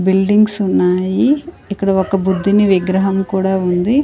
Buildings ఉన్నాయి ఇక్కడ ఒక బుద్ధిని విగ్రహం కూడా ఉంది.